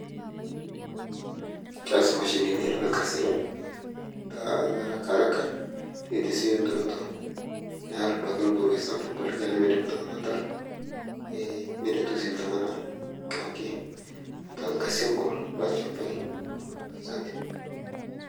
keas mashinini lkazi ta haraka haraka neitesioyoo nturoto near abaki lborpoi torno likai duake lemeidim ltungani atara e neretoo sii abaki ltungana duake lelkazi ogol